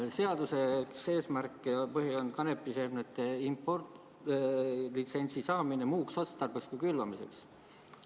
Seaduse eesmärk on kanepiseemnete impordilitsentsi saamine muuks otstarbeks kui külvamiseks.